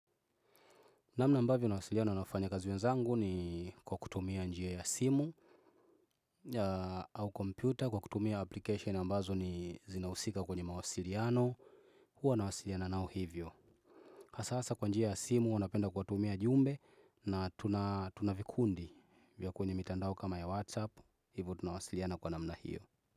Namna ambavyo nawasiliano na wafanyakazi wenzangu ni kwa kutumia njia ya simu au kompyuta kwa kutumia application ambazo ni zinahusika kwenye mawasiliano. Huwa nawasiliano nao hivyo. Hasa hasa kwa njia ya simu huwa napenda kuwatumia ujumbe na tuna tuna vikundi vya kwenye mitandao kama ya WhatsApp hivyo tunawasiliano kwa namna hivyo.